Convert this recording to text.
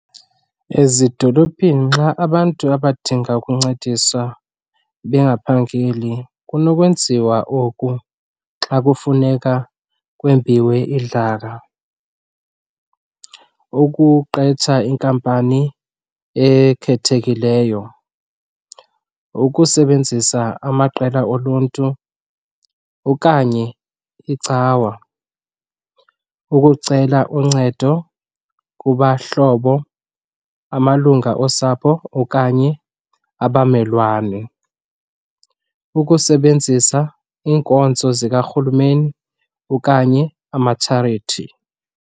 Ezidolophini xa abantu abadinga ukuncediswa bengaphangeli kunokwenziwa oku xa kufuneka kwembiwe idlaka. Ukuqetsha inkampani ekhethekileyo, ukusebenzisa amaqela oluntu okanye icawa, ukucela uncedo kubahlobo, amalunga osapho okanye abamelwane, ukusebenzisa iinkonzo zikarhulumeni okanye amatsharithi.